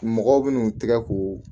Mɔgɔw bɛn'u tɛgɛ ko